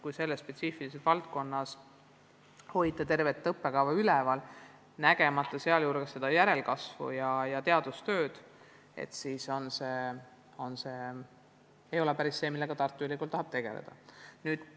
Kui selles spetsiifilises valdkonnas hoida tervet õppekava üleval, nägemata sealjuures võimalikku järelkasvu ja teadustööd, siis pole niisugune koolitus päris see, millega Tartu Ülikool tegeleda tahab.